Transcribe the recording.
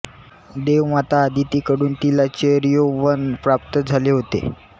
देवमाता आदिती कडून तिला चिरयौवन प्राप्त झाले होते